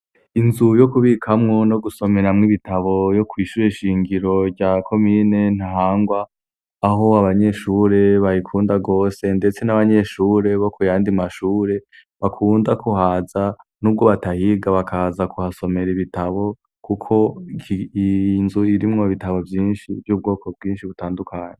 Inzu yo kubikamwo no gusomeramwo ibitabo ryo kwishure nshingiro ryo muri komine ntahangwa aho abanyeshure barikunda gose ndetse nabandi banyeshure bo kuyandi mashure bakunda kuhaza nubwo batahiga bakaza kuhasomera ibitabo kuko iyo nzu irimwo ibitabo vyinshi vyubwoko bwinshi butandukanye